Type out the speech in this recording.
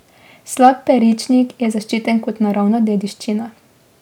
Slap Peričnik je zaščiten kot naravna dediščina.